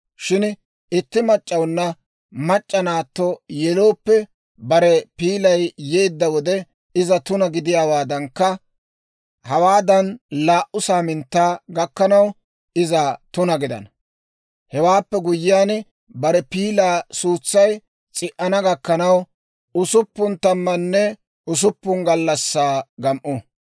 « ‹Shin itti mac'c'awuna mac'c'a naatto yelooppe, bare piilay yeedda wode iza tuna gidiyaawaadankka, hawaadan laa"u saaminttaa gakkanaw, iza tuna gidana; Hewaappe guyyiyaan, bare piilaa suutsay s'i"ana gakkanaw usuppun tammanne usuppun gallassaa gam"u.